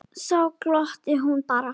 Þá glottir hún bara.